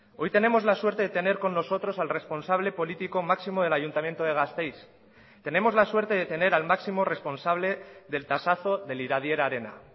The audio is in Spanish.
hoy tenemos la suerte de tener con nosotros al responsable político máximo del ayuntamiento de gasteiz tenemos la suerte de tener al máximo responsable del tasazo del iradier arena